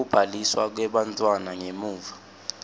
kubhaliswa kwebantfwana ngemuva